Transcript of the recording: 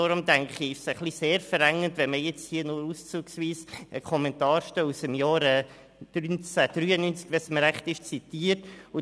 Daher ist es sehr verengend, wenn man hier nur auszugsweise eine Kommentarstelle zitiert, die, wenn ich mich richtig erinnere, aus dem Jahr 1993 stammt.